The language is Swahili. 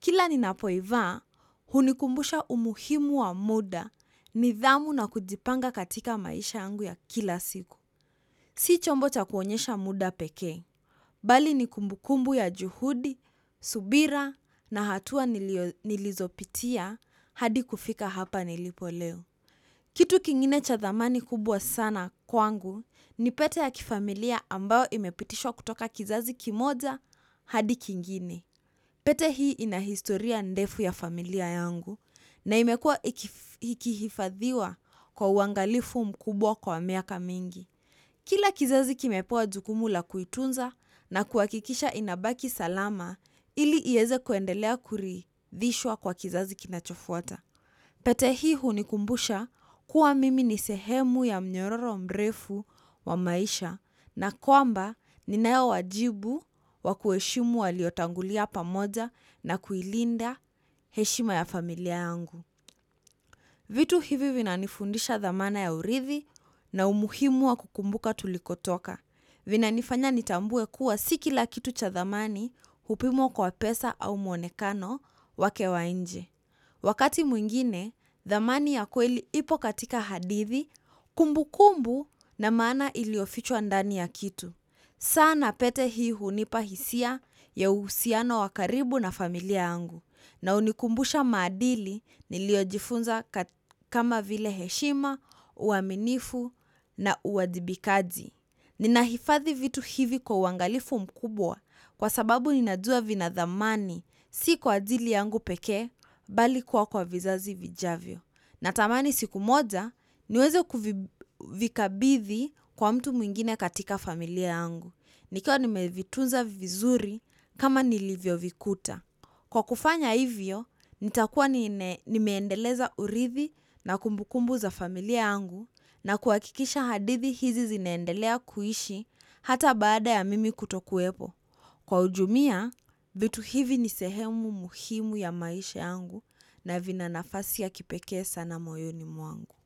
Kila ninapo ivaa, hunikumbusha umuhimu wa muda nidhamu na kujipanga katika maisha yangu ya kila siku. Si chombo cha kuonyesha muda peke. Bali ni kumbu kumbu ya juhudi, subira na hatua nilizopitia hadi kufika hapa nilipo leo. Kitu kingine cha thamani kubwa sana kwangu ni pete ya kifamilia ambayo imepitishwa kutoka kizazi kimoja hadi kingine. Pete hii ina historia ndefu ya familia yangu na imekuwa ikihifadhiwa kwa uangalifu mkubwa kwa miaka mingi kila kizazi kimepewa jukumu la kuitunza na kuhakikisha inabaki salama ili ieze kuendelea kuridhishwa kwa kizazi kinachofuata. Pete hii hunikumbusha kuwa mimi ni sehemu ya mnyororo mrefu wa maisha na kwamba ninayo wajibu wa kuheshimu waliotangulia pamoja na kuilinda heshima ya familia yangu. Vitu hivi vina nifundisha dhamana ya urithi na umuhimu wa kukumbuka tulikotoka. Vina nifanya nitambue kuwa si kila kitu cha dhamani hupimwa kwa pesa au muonekano wake wa nje. Wakati mwingine, dhamani ya kweli ipo katika hadithi, kumbu kumbu na maana iliyofichwa ndani ya kitu. Saa na pete hii hunipa hisia ya uhusiano wa karibu na familia yangu na hunikumbusha maadili niliyojifunza kama vile heshima uaminifu na uwajibikaji nina hifadhi vitu hivi kwa uangalifu mkubwa kwa sababu ninajua vina dhamani si kwa ajili yangu pekee bali kuwa kwa vizazi vijavyo. Na tamani siku moja niweze kuvikabithi kwa mtu mwingine katika familia yangu. Nikiwa nimevitunza vizuri kama nilivyo vikuta. Kwa kufanya hivyo, nitakuwa nime endeleza urithi na kumbu kumbu za familia yangu na kuhakikisha hadithi hizi zinaendelea kuishi hata baada ya mimi kutokuwepo. Kwa ujumia, vitu hivi ni sehemu muhimu ya maisha yangu na vina nafasi ya kipekee sana moyoni mwangu.